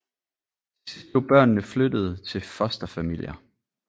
Til sidst blev børnene flyttet til fosterfamilier